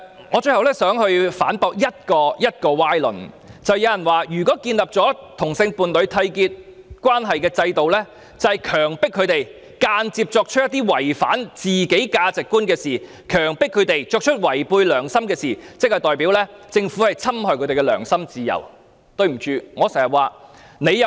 我最後想反駁一個歪論：有人指出如建立締結同性伴侶關係的制度，即是強迫他們間接作出一些違反自己價值觀和違背良心的事情，意味政府侵害他們的良心自由。